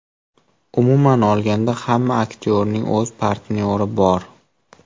Umuman olganda, hamma aktyorning o‘z partnyori bor.